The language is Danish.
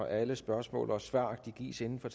alle spørgsmål og svar gives inden for